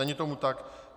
Není tomu tak.